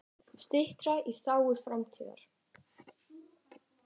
Strita í þágu framtíðar.